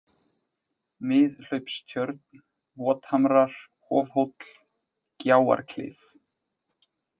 Miðhlaupstjörn, Vothamrar, Hofhóll, Gjáarklif